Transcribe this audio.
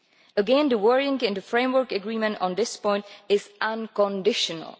Again, the wording in the framework agreement on this point is unconditional.